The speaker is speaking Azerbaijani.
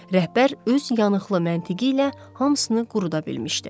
Rəhbər öz yanıqlı məntiqi ilə hamısını quruda bilmişdi.